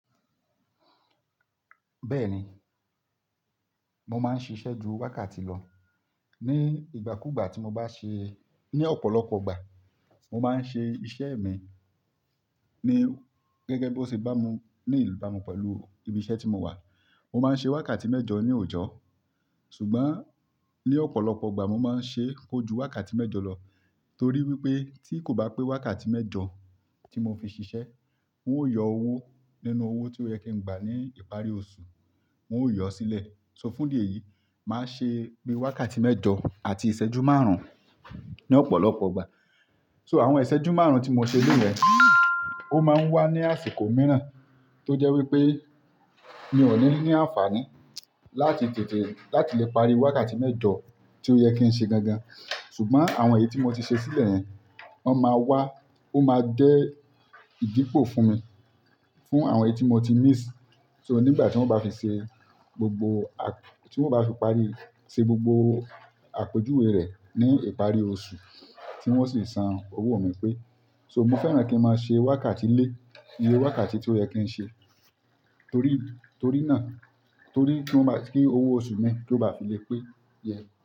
Bẹ́ẹ̀ni, mo máa ń ṣiṣẹ́ ju wákàtí lọ. Ni ìgbà kú ìgbà tí mo bá ṣe-- ní ọ̀pọ̀lọpọ̀ ìgbà, mo máa ń ṣe iṣẹ́ mi ní gẹ́gẹ́ bí ó ṣe bá mu ní ì bá mu pẹ̀lú ibi iṣẹ́ tí mo wà. Mo máa ń ṣe wákàtí mẹ́jọ ní òòjó, ṣùgbọ́n ní ọ̀pọ̀lọpọ̀ ìgbà mo máa ń ṣe kojú wákàtí mẹ́jọ lọ torí wípé tí kò bá pé wákàtí mẹ́jọ tí mo fi ṣiṣẹ́, n ó yọ owó nínú owó tí ó yẹ kí n gbà ní ìparí oṣù, n ó yọ ó sílẹ̀. So fún di èyí, màá ṣe gbé wákàtí mẹ́jọ àti ìṣẹ́jú márùn-ún ní ọ̀pọ̀lọpọ̀ ìgbà. So àwọn ìṣẹ́jú márùn-ún tí mo ṣe lẹ́yẹn, ó máa ń wá ní àsìkò mìíràn tó jẹ́ wípé mi ò ní ní àǹfààní láti tètè, láti lè parí wákàtí mẹ́jọ tí ó yẹ kí ń ṣe gangan. Ṣùgbọ́n àwọn èyí tí mo ti ṣe sílẹ̀ yẹn, wọ́n máa wá, ó máa jẹ́ ìdípò fún mi, fún àwọn èyí tí mo ti miss. So nígbà tí wọ́n bá fi ṣe gbogbo a-- tí wọ́n bá fi parí ṣe gbogbo àpèjúwe rẹ̀ ní ìparí oṣù tí wọ́n sì san owó mi pé. So mo fẹ́ràn kí n máa ṣe wákàtí lé iye wákàtí tí ó yẹ kí n ṣe torí, torí náà, torí kí ó bá, kí owó oṣù mi kí ó bá fi lè pé yẹ.